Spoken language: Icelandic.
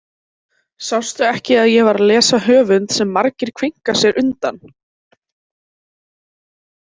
Sástu ekki að ég var að lesa höfund sem margir kveinka sér undan?